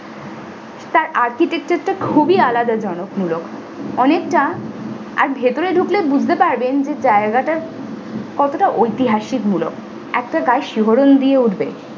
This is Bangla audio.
তার architecture তা খুবই আলাদা জনক মূলক অনেকটা আর ভিতরে ঢুকলে বুঝতে পারবেন জায়গাটা কতটা ঐতিহাসিক মূলক একটা গায়ে শিহরণ দিয়ে উঠবে।